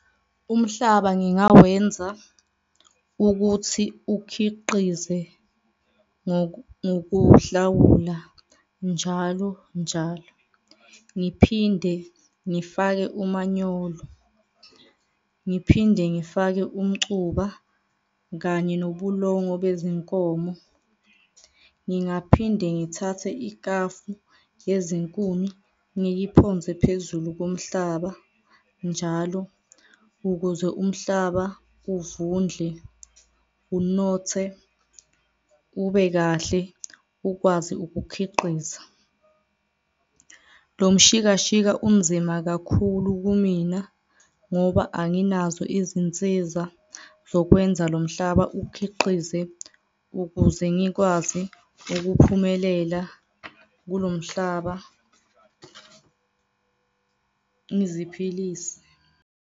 Umhlaba ngingawenza ukuthi ukhiqize ngokuhlawula njalo, njalo. Ngiphinde ngifake umanyolo, ngiphinde ngifake umcuba kanye nobulongo bezinkomo, ngingaphinde ngithathe ikafu yezinkuni, ngiyiphonse phezulu komhlaba njalo ukuze umhlaba uvundle, unothe ube kahle ukwazi ukukhiqiza. Lo mshikashika unzima kakhulu kumina ngoba anginazo izinsiza zokwenza lo mhlaba ukhiqize ukuze ngikwazi ukuphumelela kulo mhlaba ngiziphilise.